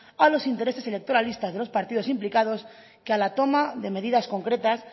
a los intereses electoralistas de los partidos implicados que a la toma de medidas concretas